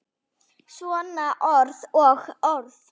Svona orð og orð.